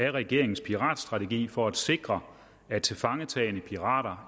af regeringens piratstrategi for at sikre at tilfangetagne pirater